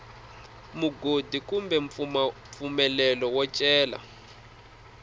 mugodi kumbe mpfumelelo wo cela